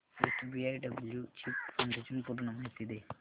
SBI blue chip fund ची पूर्ण माहिती दे